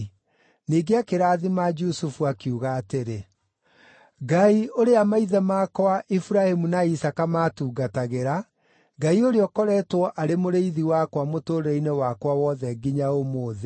Ningĩ akĩrathima Jusufu, akiuga atĩrĩ, “Ngai ũrĩa maithe makwa Iburahĩmu na Isaaka maatungatagĩra, Ngai ũrĩa ũkoretwo arĩ mũrĩithi wakwa mũtũũrĩre-inĩ wakwa wothe nginya ũmũthĩ,